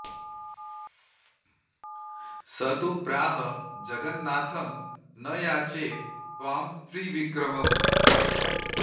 स तु प्राह जगन्नाथं न याचे त्वां त्रिविक्रमम्